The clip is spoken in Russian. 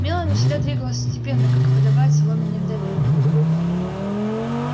мелани всегда двигалась степенно как и подобает соломенной вдове